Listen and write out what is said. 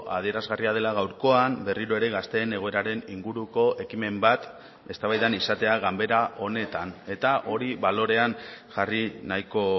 adierazgarria dela gaurkoan berriro ere gazteen egoeraren inguruko ekimen bat eztabaidan izatea ganbera honetan eta hori balorean jarri nahiko